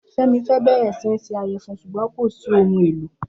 Femi fẹ́ bẹ̀rẹ̀ sí í se ìyẹ̀fun ṣùgbọ́n kò sí ohun èlò